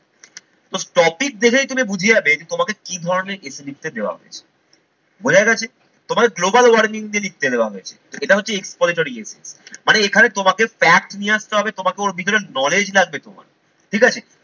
তো topic দেখেই তুমি বুঝে যাবে যে তোমাকে কি ধরনের essay লিখতে দেওয়া হয়েছে বোঝা গেছে? তোমাদের global warming দিয়ে লিখতে দেওয়া হয়েছে। এটা হচ্ছে expository essay মানে এখানে তোমাকে pack নিয়ে আসতে হবে তোমাকে ওর ভিতরে knowledge লাগবে তোমার ঠিক আছে।